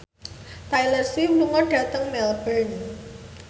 Taylor Swift lunga dhateng Melbourne